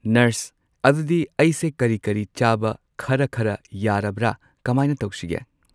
Nurse ꯑꯗꯨꯗꯤ ꯑꯩꯁꯦ ꯀꯔꯤ ꯀꯔꯤ ꯆꯥꯕ ꯈꯔ ꯈꯔ ꯌꯥꯔꯕ꯭ꯔꯥ ꯀꯃꯥꯏꯅ ꯇꯧꯁꯤꯒꯦ?